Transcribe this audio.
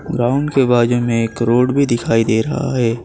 Ground के बाजू में एक रोड भी दिखाई दे रहा है।